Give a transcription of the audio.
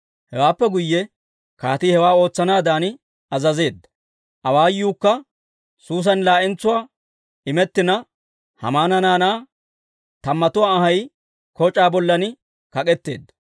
Hewaappe guyye kaatii hewaa ootsanaadan azazeedda; awaayuukka Suusan laa'entsuwaa imettina, Haamana naanaa tammatuwaa anhay koc'aa bollan kak'etteedda.